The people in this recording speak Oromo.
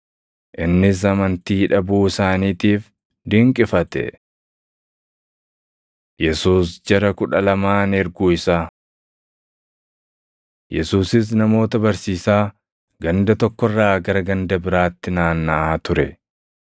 Innis amantii dhabuu isaaniitiif dinqifate. Yesuus Jara Kudha Lamaan Erguu Isaa 6:7‑11 kwf – Mat 10:1,9‑14; Luq 9:1,3‑5 Yesuusis namoota barsiisaa ganda tokko irraa gara ganda biraatti naannaʼaa ture.